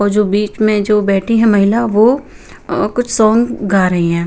और जो बीच में जो बैठी है महिला वो अ कुछ सॉन्ग गा रही हैं।